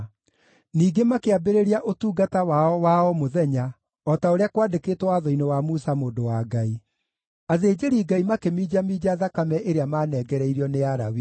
Ningĩ makĩambĩrĩria ũtungata wao wa o mũthenya o ta ũrĩa kwandĩkĩtwo Watho-inĩ wa Musa mũndũ wa Ngai. Athĩnjĩri-Ngai makĩminjaminja thakame ĩrĩa maanengereirio nĩ Alawii.